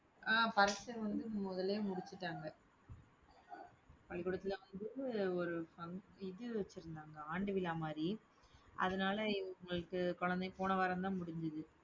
அஹ் பரீட்சை வந்து, முதல்லயே முடிச்சுட்டாங்க. பள்ளிக்கூடத்துல வந்துட்டு ஒரு fun~ இது வச்சிருந்தாங்க ஆண்டு விழா மாதிரி. அதனால இவங்களுக்கு குழந்தை~ போன வாரம்தான் முடிஞ்சுது